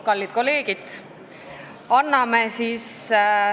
Kallid kolleegid!